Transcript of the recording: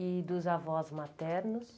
E dos avós maternos?